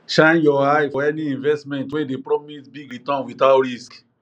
shine your eye for any investment wey dey promise big return without risk